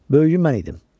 Böyüyü mən idim.